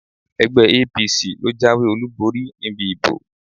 Ẹgbẹ́ APC ló jáwèé olúborí níbi ìbò.